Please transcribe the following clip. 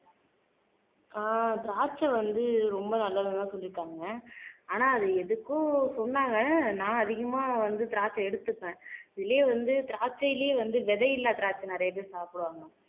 ஆஹ் திராட்சை வந்து ரொம்ப நல்லதுன்னு எல்லாம் சொல்லி இருக்காங்க. ஆனா அத எதுக்கோ சொன்னாங்க நான் அதிகமா வந்து திராட்சை எடுத்துப்பேன் இதுலயே வந்து திராட்சையிலேயே வந்து விதையில்லா திராட்சை நிறைய பேர் சாப்பிடுவாங்க.